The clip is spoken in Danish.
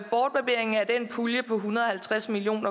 den pulje på en hundrede og halvtreds million